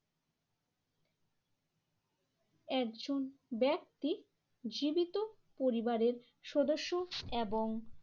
একজন ব্যক্তি জীবিত পরিবারের সদস্য এবং